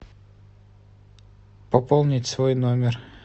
пополнить свой номер